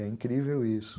É incrível isso.